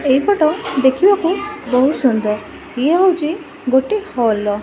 ଏହି ଫଟୋ ଦେଖିବାକୁ ବହୁତ୍ ସୁନ୍ଦର। ଏହା ହେଉଚି ଗୋଟେ ହଲ ର --